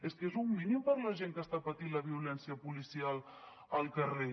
és que és un mínim per a la gent que està patint la violència policial al carrer